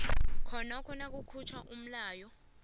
khonokho nakukhutjhwa umlayo